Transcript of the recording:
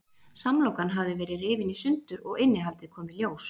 Samlokan hafði verið rifin í sundur og innihaldið kom í ljós.